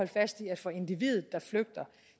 fast i at for individet der flygter